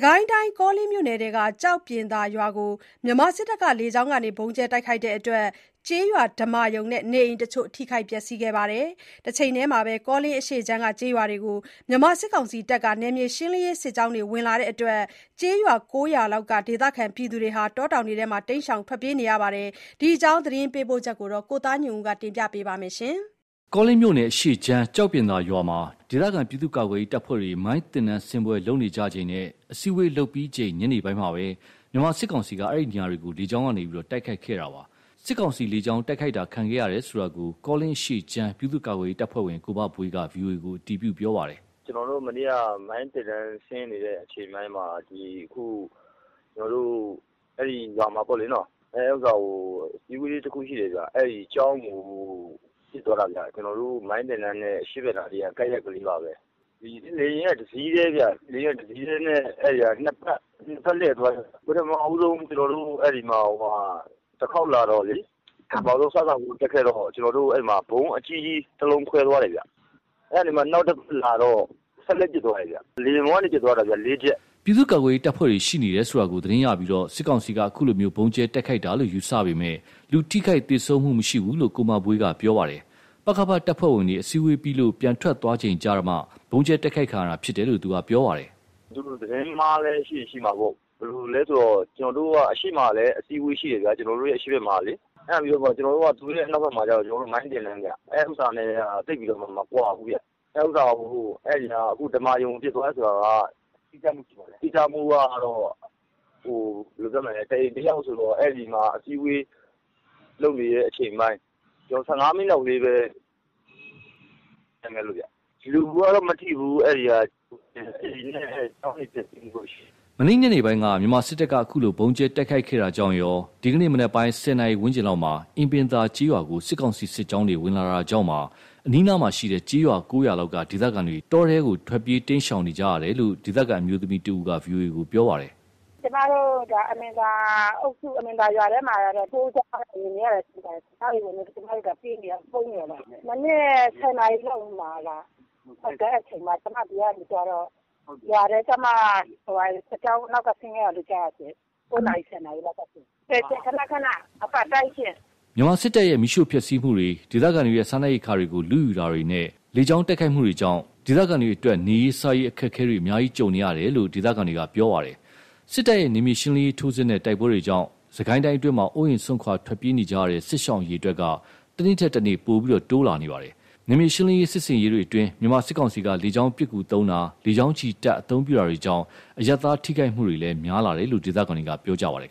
ကိုင်းတိုင်း ကောလင်းမြို့နယ်ထဲက ကျောက်ပြင်သာရွာကို မြန်မာစစ်တပ်က လေကြောင်းကနေ ဗုံးကြဲတိုက်ခိုက်လို့ ကျေးရွာဓမ္မာရုံနဲ့ နေအိမ်တချို့ ထိခိုက်ပျက်စီးခဲ့ပါတယ်။ တချိန်တည်းမှာ ကောလင်းအရှေ့ခြမ်းကျေးရွာတွေကို မြန်မာစစ်ကောင်စီတပ်က နယ်မြေရှင်းလင်းရေးစစ်ကြောင်း ဝင်လာလာလို့ ကျေးရွာ ၉ ရွာလောက်က ဒေသခံတွေ တောထဲ တိမ်းရှောင်နေရပါတယ်။ ဒီအကြောင်း သတင်းပေးပို့ချက်ကို ကိုသားညွန့်ဦး ပြောပြပါမယ်။ ကောလင်းမြို့နယ် အရှေ့ခြမ်း ကျောက်ပြင်သာရွာမှာ ဒေသခံ ပြည်သူ့ကာကွယ်ရေး တပ်ဖွဲ့တွေ မိုင်းသင်တန်း ဆင်းပွဲ လုပ်နေကြချိန်နဲ့ အစည်းအဝေးလုပ်ပြီးချိန် ညနေပိုင်းမှာပဲ မြန်မာစစ်ကောင်စီက အဲဒီနေရာတွေကို လေကြောင်းကနေ တိုက်ခိုက်ခဲ့တာပါ။ စစ်ကောင်စီ လေကြောင်းတိုက်ခိုက်တာခံခဲ့ရတယ်ဆိုတာကို ကောလင်းအရှေ့ခြမ်း ပြည်သူ့ကာကွယ်ရေးတပ်ဖွဲ့ဝင် ကိုမဘွေးက VOA ကို အတည်ပြုပြောပါတယ်။ "ကျွန်တော်တို့ မနေ့က မိုင်းသင်တန်း ဆင်းနေကြတဲ့ အချိန်မှာ ဒီအခု ကျွန်တော်တို့ အဲ့ဒီ ရွာမှာပေါ့လေနော၊ အဲ့ဥစ္စာမှာ အစည်းအဝေးလည်း တစ်ခုရှိတယ်ဗျ။ အဲ့မှာ ကျောင်းကို ကျွန်တော်တို့ မိုင်းသင်တန်းနဲ အရှေ့ဖက်ကနား ကပ်ရက်ကလေးပါဘဲ၊ လေယာဉ်က တစ်စီးတည်းဗျ၊ တစ်စီးတည်းကို နှစ်ဖက်လှည့်သွားပြီးတော့ ပထမဆုံး ကျွန်တော်တို့ ဖက်ကို တခေါက်လာတော့လေ ပထမဆုံး စစဦးတက်ခဲ့တော့ အဲ့မှာ ဗုံးအကြီးကြီးတစ်လုံး ခွဲသွားတယ်ဗျ။ အဲ့ကနေမှာ နောက်တစ်ခေါက်လာတော့ စက်သေနတ်နဲ့ ပစ်သွားတယ်ဗျ၊ လေယာဉ်ပေါ်ကနေ ပစ်သွားတာဗျ လေးချက်။" ပြည်သူ့ကာကွယ်ရေးတပ်ဖွဲ့တွေရှိနေတယ်ဆိုတာကို သတင်းရပြီး စစ်ကောင်စီက အခုလိုဗုံးကြဲတိုက်ခိုက်တာလို့ ယူဆပေမယ့်၊ လူထိခိုက်သေဆုံးမှုမရှိဘူးလို့ ကိုမဘွေးက ပြောပါတယ်။ ပကဖ တပ်ဖွဲ့ဝင်တွေ အစည်းအဝေးပြီးလို့ ပြန်ထွက်သွားကြပြီးချိန်မှာမှ ဗုံးကြဲတိုက်ခိုက်ခံရတာ ဖြစ်တယ်လို့ ပြောပါတယ်။ "သူတို့ သတင်းမှားလည်း ဖြစ်ရင်ဖြစ်မှာပေါ့၊ ကျွန်တော်တို့က အရှေ့မှာလည်း အစည်းအဝေးရှိတယ်ဗျာ။ ကျွန်တော်တို့ အရှေ့ဖက်မှာကလေ။ အဲ့ဒါပြီးတော့ သူတို့ရဲ့ အနောက်ဖက်မှာကကျတော့ မိုင်းသင်တန်းဗျ။ အဲ့ဥစ္စာ ၂ ခုက သိပ်ပြီးတော့မှ မကွာဘူးဗျ။ အခု ဓမ္မာရုံကို ပစ်သွားတယ်ဆိုတာက တိကျမှုကတော့ ဘယ်လိုပြောမလဲ တစ်အိမ်တစ်ယောက်ဆိုတော့ အဲ့ဒီမှာ အစည်းအဝေးလုပ်နေတဲ့ အချိန်ပိုင်း ၁၅ မိနစ်လောက်လေးပဲ ကွာတယ်။ လူကတော့ မထိဘူး၊ အဲ့မှာ အိမ်နဲ့ ကျောင်းတချို့လောက်ပဲ ထိခိုက်မှု ရှိတယ်။" မနေ့ည ညနေပိုင်းက မြန်မာစစ်တပ်က အခုလို ဗုံးကျဲ တိုက်ခိုက်ခဲ့တာကြောင့်ရော ဒီကနေ့ မနက်ပိုင်း ၁၀ နာရီ ဝန်းကျင်လောက်မှာ အင်ပင်သာ ကျေးရွာကို စစ်ကောင်စီ စစ်ကြောင်းတွေ ဝင်လာတာကြောင့်ပါ အနီးအနားက ကျေးရွာ ၉ ရွာလောက်က ဒေသခံတွေ တောထဲကို ထွက်ပြေးတိမ်းရှောင်နေကြရတယ်လို့ ဒေသခံ အမျိုးသမီးတဦးက ပြောပါတယ်။ "ကျွန်မတို့ အင်ပင်သာအုပ်စု အင်ပင်သာရွာထဲမှာကတော့ စစ်ကြောင်းဝင်နေတာရှိပါတယ်ရှင့် စစ်ကြောင်းတွေဝင်လာလို့ ကျွန်မတို့ ပြေးနေရ ပုန်းနေရတာပါ။ မနက် ၁၀ နာရီလောက်မှာ ကျွန်မဒီကနေ သွားတော့ ရွာထဲကျမှာ စစ်ကြောင်း နောက်က ဆင်းခဲ့တာလို့ ကြားတယ်ရှင့်။ ၉ နာရီ ၁၀ နာရီလောက်ကရှင့်။ ခဏခဏ အပတ်တိုင်းရှင့်။" မြန်မာစစ်တပ်ရဲ့ မီးရှို့ဖျက်ဆီးမှုတွေ၊ ဒေသခံတွေရဲ့ စားနပ်ရိက္ခာတွေကို လုယူတာတွေနဲ့ လေကြောင်းတိုက်ခိုက်မှုတွေကြောင့် ဒေသခံတွေအတွက် နေရေး စားရေး အခက်အခဲတွေ အများကြီးကြုံနေကြရတယ်လို့ ဒေသခံတွေက ပြောပါတယ်။ စစ်တပ်ရဲ့ နယ်မြေရှင်းလင်းရေး ထိုးစစ်နဲ့ တိုက်ပွဲတွေကြောင့် စစ်ကိုင်းအတွင်းမှာ အိုးအိမ် စွန့်ခွာ ထွက်ပြေးနေကြရတဲ့ စစ်ရှောင် အရေ အတွက်တွေက တနေ့ထက်တနေ့ ပိုပြီးတိုးလာနေပါတယ်။ နယ်မြေရှင်းလင်းရေးစစ်ဆင်ရေးတွေမှာ မြန်မာစစ်ကောင်စီက လေကြောင်းပစ်ကူသုံးတာ၊ လေကြောင်းချီတပ် အသုံးပြုတာတွေကြောင့် အရပ်သားထိခိုက်မှုတွေလည်း များလာတယ်လို့ ဒေသခံတွေက ပြောပါတယ်